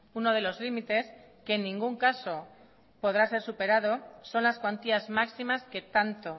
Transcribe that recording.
uno de los límites que en ningún caso podrá ser superado son las cuantías máximas que tanto